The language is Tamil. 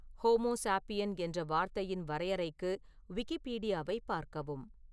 ஹோமோசாபியன் என்ற வார்த்தையின் வரையறைக்கு விக்கிபீடியாவைப் பார்க்கவும்